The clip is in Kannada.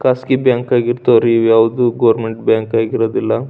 ಖಾಸಗಿ ಬ್ಯಾಂಕ್ ಆಗಿ ಇರ್ತಾವ ರೀ ಯಾವ್ದು ಗವರ್ನಮೆಂಟ್ ಬ್ಯಾಂಕ್ ಆಗಿ ಇರುವುದಿಲ್ಲ .